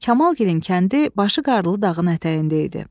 Kamalgilin kəndi başı qarlı dağın ətəyində idi.